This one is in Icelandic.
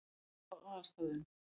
Skammt frá aðalstöðvunum.